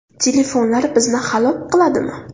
Telefonlar bizni halok qiladimi?